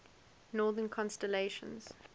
northern constellations